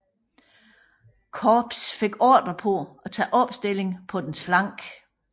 Korps fik ordre til at tage opstilling på dens flanke